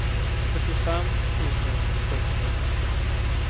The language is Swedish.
fyrtiofem tusen sexhundrafem